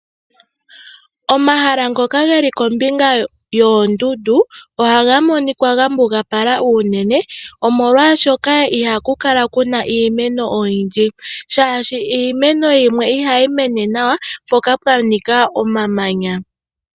Omahala ngoka geli kombinga yoondundu ohaga monika gambugapala unene, omolwaashoka ohaku kala kuna iimeno oyindji shaashi iimeno yimwe ohayi mene nawa pomahala mpoka pwa nika omamanya.